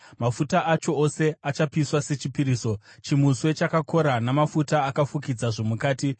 Mafuta acho ose achapiswa sechipiriso, chimuswe chakakora namafuta akafukidza zvomukati,